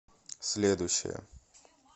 следующая